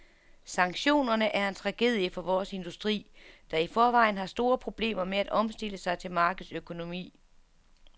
Sanktionerne er en tragedie for vores industri, der i forvejen har store problemer med at omstille sig til markedsøkonomi.